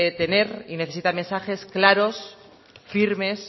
tener y necesita mensajes claros firmes